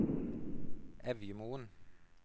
Evjemoen